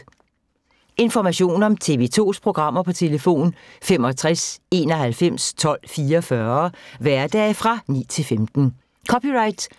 Information om TV 2's programmer: 65 91 12 44, hverdage 9-15.